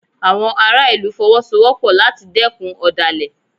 Àwọn ará ìlú Fọwọ́sowọ́pọ̀ láti dẹ́kun ọ̀dàlẹ̀